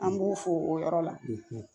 An b'u fo o yɔrɔ la